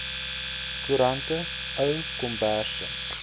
koerante ou komberse